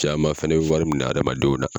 Caman fɛnɛ bɛ wari minɛ hadamadenw na.